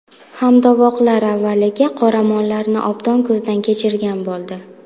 Hamtovoqlar avvaliga qoramollarni obdon ko‘zdan kechirgan bo‘ldi.